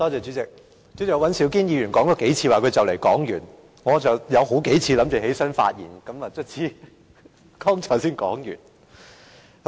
主席，尹兆堅議員說了幾次即將說完，我有好幾次預備起來發言，剛才他才終於說完。